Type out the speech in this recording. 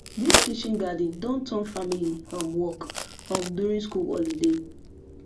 this kitchen garden don turn family um work um during school holiday